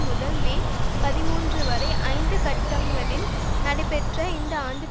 முதல் மே பதிமூன்று வரை ஐந்து கட்டங்களில் நடைபெற்ற இந்த ஆண்டு